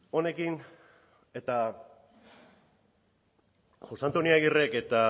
honekin eta jose antonio agirrek eta